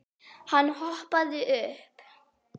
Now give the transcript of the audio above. Hann hoppaði upp.